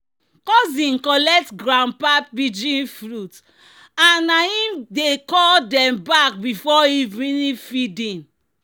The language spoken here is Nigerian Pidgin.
"cousin collect grandpa pigeon flute and na him dey call dem back before evening feeding."